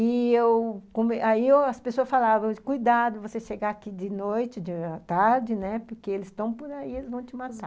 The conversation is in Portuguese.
E eu... aí as pessoas falavam, cuidado, você chegar aqui de noite, de tarde, né, porque eles estão por aí, eles vão te matar.